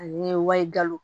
Ani wali galo